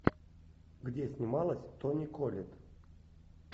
где снималась тони коллетт